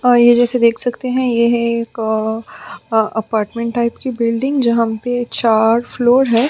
पर ये जैसे देख सकते है यह अपार्टमेंट टाइप की बिल्डिंग जहाँ पे चार फ्लोर है।